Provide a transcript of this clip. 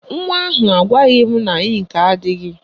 Nwa ahụ agwaghị m na ịnkị adịghị